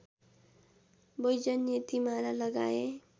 वैजयन्ती माला लगाए